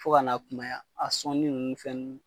Fɔ ka n'a kunaya a sɔnni ninnu ni fɛnninw